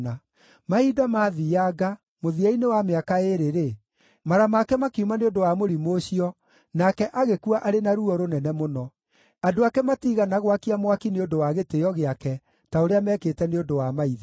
Mahinda mathiianga, mũthia-inĩ wa mĩaka ĩĩrĩ-rĩ, mara make makiuma nĩ ũndũ wa mũrimũ ũcio, nake agĩkua arĩ na ruo rũnene mũno. Andũ ake matiigana gwakia mwaki nĩ ũndũ wa gĩtĩĩo gĩake, ta ũrĩa meekĩte nĩ ũndũ wa maithe.